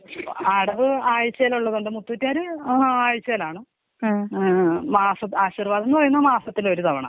അടവ് ആഴ്ച്ചേലുള്ളതുണ്ട് മുത്തൂറ്റേര് ആയ്ച്ചേലാണ്. മാസ് ആശിർവാദ് എന്ന് പറയുന്നത് മാസത്തിലൊരു തവണ.